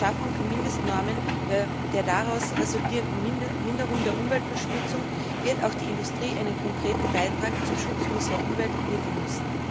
Mit der Schaffung von Mindestnormen und der daraus resultierenden Minderung der Umweltverschmutzung wird auch die Industrie einen konkreten Beitrag zum Schutz unserer Umwelt liefern müssen.